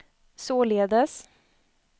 således